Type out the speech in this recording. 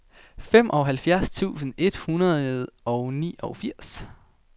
femoghalvfjerds tusind et hundrede og niogfirs